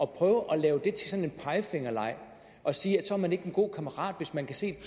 prøve at lave det til sådan en pegefingerleg og sige at man ikke er en god kammerat hvis man kan se